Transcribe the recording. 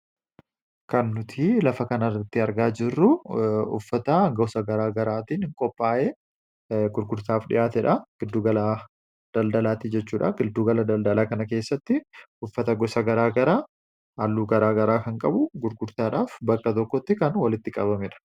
Kan nuti lafa kanarratti argaa jirru uffata gosa garaagaraatiin qophaa'ee gurgurtaaf dhiyaatedha. Giddu gala daldalaati jechuudha. Giddu gala daldalaa kana keessatti uffata gosa garaagaraa halluu garaagaraa kan qabu gurgurtaadhaaf bakka tokkotti kan walitti qabamedha.